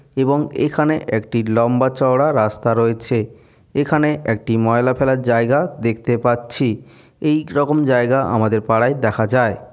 এবং এখানে একটি লম্বা চওড়া রাস্তা রয়েছে। এখানে একটি ময়লা ফেলার জায়গা দেখতে পাচ্ছি এই রকম জায়গা আমাদের পাড়ায় দেখা যায়।